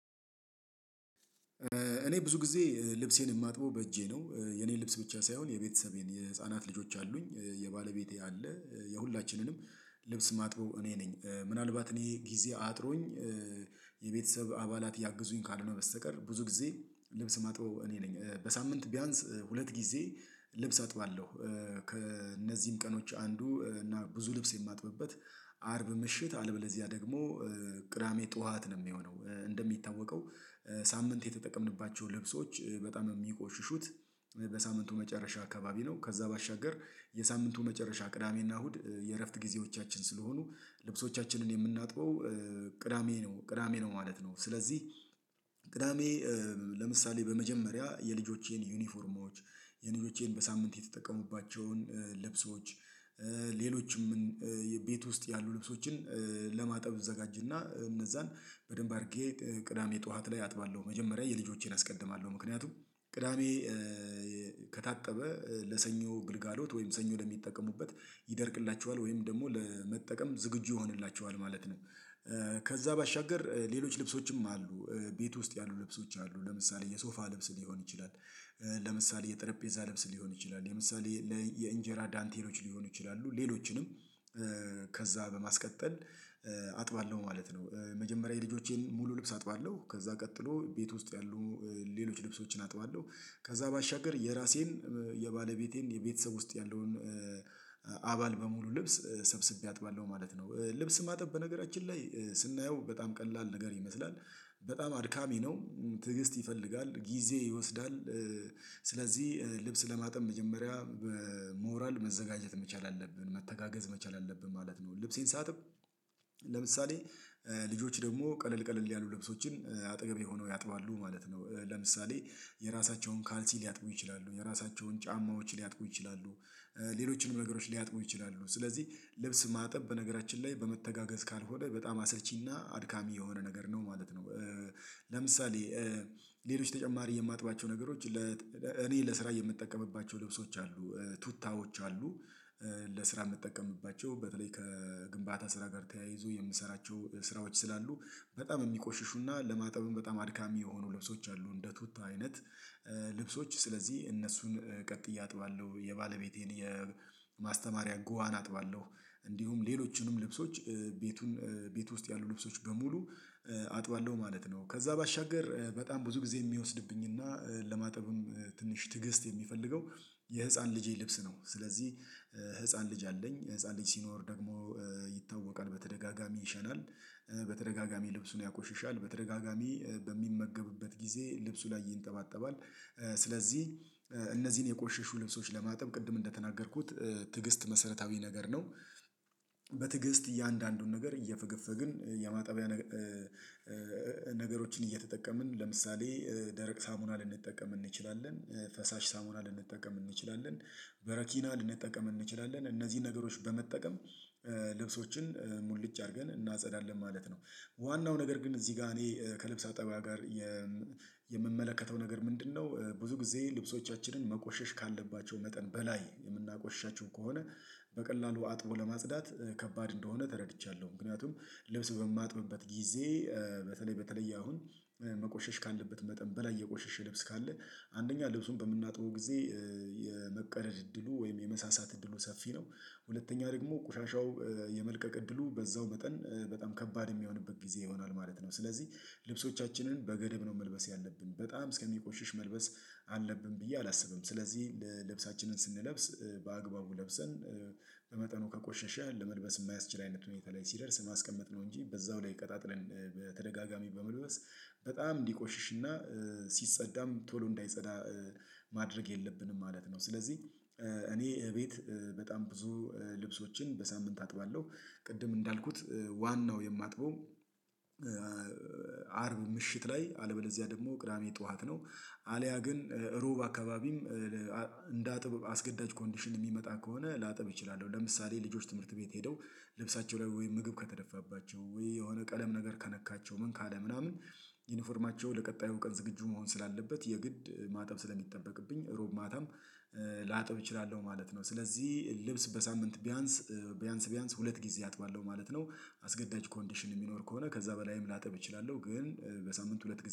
እኔ ብዙ ጊዜ ልብሴን የማጥበው በእጄ ነው የኔ ልብስ ብቻ ሳይሆን የቤተሰቤን የህፃናት ልጆች አሉኝ የባለቤቴ አለ የሁላችንንም ልብስ ማጥበው እኔ ነኝ። ምናልባት እኔ ጊዜ አጥሮኝ። የቤተሰብ አባላት ሊያግዙኝ ካልሆነ በስተቀር ብዙ ጊዜ ልብስ ማጥበው እኔ ነኝ በሳምንት ቢያንስ ሁለት ጊዜ ልብስ አጥባለሁ። ከእነዚህም ቀኖች አንዱ እና ብዙ ልብስ የማጥብበት አርብ ምሽት አለበለዚያ ደግሞ ቅዳሜ ጠዋት ነው የሚሆነው። እንደሚታወቀው ሳምንት የተጠቀምንባቸው ልብሶች በጣም የሚቆሽሹት በሳምንቱ መጨረሻ አካባቢ ነው። ከዛ ባሻገር የሳምንቱ መጨረሻ ቅዳሜና እሁድ የእረፍት ጊዜዎቻችን ስለሆኑ ልብሶቻችንን የምናጥበው ቅዳሜ ነው ቅዳሜ ነው ማለት ነው። ስለዚህ ቅዳሜ ለምሳሌ በመጀመሪያ የልጆቼን ዩኒፎርማዎች የልጆቼን በሳምንት የተጠቀሙባቸውን ልብሶች ሌሎችም የቤት ውስጥ ያሉ ልብሶችን ለማጠብ እዘጋጅና እነዛን በደንብ አድርጌ ቅዳሜ ጠዋት ላይ አጥባለሁ። መጀመሪያ የልጆቼን አስቀድማለሁ ምክንያቱም ቅዳሜ ከታጠበ ለሰኞ ግልጋሎት ወይም ሰኞ ለሚጠቀሙበት ይደርቅላቸዋል ወይም ደግሞ ለመጠቀም ዝግጁ ይሆንላቸዋል ማለት ነው። ከዛ ባሻገር ሌሎች ልብሶችም አሉ ቤት ውስጥ ያሉ ልብሶች አሉ ለምሳሌ የሶፋ ልብስ ሊሆን ይችላል። ለምሳሌ የጠረጴዛ ልብስ ሊሆን ይችላል የምሳሌ ለእንጀራ ዳንቴሎች ሊሆኑ ይችላሉ ሌሎችንም በማስቀጠል አጥባለሁ ማለት ነው። መጀመሪያ የልጆቼን ሙሉ ልብስ አጥባለሁ ከዛ ቀጥሎ ቤት ውስጥ ያሉ ሌሎች ልብሶችን አጥባለሁ ከዛ ባሻገር የራሴን የባለቤቴን የቤተሰብ ውስጥ ያለውን አባል በሙሉ ልብስ ሰብስቤ አጥባለሁ ማለት ነው። ልብስ ማጠብ በነገራችን ላይ ስናየው በጣም ቀላል ነገር ይመስላል። በጣም አድካሚ ነው ትዕግስት ይፈልጋል ጊዜ ይወስዳል። ስለዚህ ልብስ ለማጠብ መጀመሪያ በሞራል መዘጋጀት መቻል አለብን መተጋገዝ መቻል አለብን ማለት ነው። ልብሴን ሳጥብ ለምሳሌ ልጆች ደግሞ ቀለል ቀለል ያሉ ለብሶችን አጠገቤ ሆነው ያጥባሉ ማለት ነው ለምሳሌ የራሳቸውን ካልሲ ሊያጥቡ ይችላሉ የራሳቸውን ጫማዎች ሊያጥቡ ይችላሉ። ሌሎችንም ነገሮች ሊያጥቡ ይችላሉ ስለዚህ ልብስ ማጠብ በነገራችን ላይ በመተጋገዝ ካልሆነ በጣም አሰልቺና አድካሚ የሆነ ነገር ነው ማለት ነው። ለምሳሌ ሌሎች ተጨማሪ የማጥባቸው ነገሮች እኔ ለስራ የምጠቀምባቸው ልብሶች አሉ ቱታዎች አሉ። ለስራ የምጠቀምባቸው በተለይ ከግንባታ ስራ ጋር ተያይዞ የምሰራቸው ስራዎች ስላሉ በጣም የሚቆሽሹና ለማጠብም በጣም አድካሚ የሆኑ ልብሶች አሉ እንደ ቱታ አይነት። ልብሶች ስለዚህ እነሱን ቀጥዬ አጥባለሁ የባለቤቴን የማስተማሪያ ጉዋን አጥባለሁ እንዲሁም ሌሎቹንም ልብሶች ቤቱን ቤት ውስጥ ያሉ ልብሶች በሙሉ አጥባለሁ ማለት ነው። ከዛ ባሻገር በጣም ብዙ ጊዜ የሚወስድብኝና ለማጠብም ትንሽ ትዕግስት የሚፈልገው የህፃን ልጄ ልብስ ነው። ስለዚህ ህፃን ልጅ አለኝ ህፃን ልጅ ሲኖር ደግሞ ይታወቃል በተደጋጋሚ ይሸናል። በተደጋጋሚ ልብሱን ያቆሽሻል በተደጋጋሚ በሚመገብበት ጊዜ ልብሱ ላይ ይንጠባጠባል። ስለዚህ እነዚህን የቆሸሹ ልብሶች ለማጠብ ቅድም እንደተናገርኩት ትዕግስት መሰረታዊ ነገር ነው። በትዕግስት እያንዳንዱን ነገር እየፈገፈግን የማጠቢያ ነገሮችን እየተጠቀምን ለምሳሌ ደረቅ ሳሙና ልንጠቀም እንችላለን ፈሳሽ ሳሙና ልንጠቀም እንችላለን በረኪና ልንጠቀም እንችላለን እነዚህን ነገሮች በመጠቀም ልብሶችን ሙልጭ አድርገን እናጸዳለን ማለት ነው። ዋናው ነገር ግን እዚህ ጋር እኔ ከልብስ አጠባ ጋር የምመለከተው ነገር ምንድነው? ብዙ ጊዜ ልብሶቻችንን መቆሸሽ ካለባቸው መጠን በላይ የምናቆሽሻቸው ከሆነ በቀላሉ አጥቦ ለማጽዳት ከባድ እንደሆነ ተረድቻለሁ። ምክንያቱም ልብስ በማጥብበት ጊዜ በተለይ በተለየ አሁን መቆሸሽ ካለበት መጠን በላይ የቆሸሸ ልብስ ካለ አንደኛ ልብሱን በምናጥበው ጊዜ የመቀደድ እድሉ ወይም የመሳሳት እድሉ ሰፊ ነው። ሁለተኛ ደግሞ ቆሻሻው የመልቀቅ እድሉ በዛው መጠን በጣም ከባድ የሚሆንበት ጊዜ ይሆናል ማለት ነው። ስለዚህ ልብሶቻችንን በገደብ ነው መልበስ ያለብን በጣም እስከሚቆሽሽ መልበስ አለብን ብዬ አላስብም። ስለዚህ ልብሳችንን ስንለብስ በአግባቡ ለብሰን በመጠኑ ከቆሸሸ ለመልበስ የማያስችል አይነት ሁኔታ ላይ ሲደርስ ማስቀመጥ ነው እንጂ በዛው ላይ ቀጣጥለን በተደጋጋሚ በመልበስ በጣም እንዲቆሽሽና ሲጸዳም ቶሎ እንዳይጸዳ ማድረግ የለብንም ማለት ነው። ስለዚህ እኔ እቤት በጣም ብዙ ልብሶችን በሳምንት አጥባለሁ ቅድም እንዳልኩት ዋናው የማጥበው አርብ ምሽት ላይ አለበለዚያ ደግሞ ቅዳሜ ጠዋት ነው። አልያ ግን ሩብ አካባቢም እንደ አጥብ አስገዳጅ ኮንዲሽን የሚመጣ ከሆነ ላጥብ እችላለሁ ለምሳሌ ልጆች ትምህርት ቤት ሄደው ልብሳቸው ላይ ወይ ምግብ ከተደፋባቸው ወይ የሆነ ቀለም ነገር ከነካቸው ምን ካለ ምናምን ዩኒፎርማቸው ለቀጣዩ ቀን ዝግጁ መሆን ስላለበት የግድ ማጣብ ስለሚጠበቅብኝ እሮብ ማታም ላጥብ እችላለሁ ማለት ነው። ስለዚህ ልብስ በሳምንት ቢያንስ ቢያንስ ቢያንስ ሁለት ጊዜ አጥባለሁ ማለት ነው። አስገዳጅ ኮንዲሽን የሚኖር ከሆነ ከዛ በላይም ላጠብ እችላለሁ ግን በሳምንት ሁለት ጊዜ